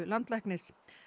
landlæknis